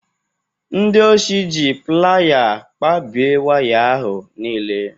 Ndị oshi ji playa kpabie waya ahụ niile